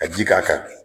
Ka ji k'a kan bi